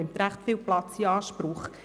Diese nimmt viel Platz in Anspruch.